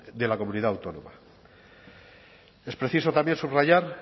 de la comunidad autónoma es preciso también subrayar